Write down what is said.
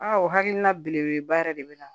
Aa o hakilina belebeleba yɛrɛ de bɛ na